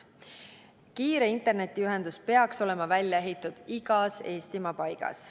Kiire internetiühendus peaks olema välja ehitatud igas Eestimaa paigas.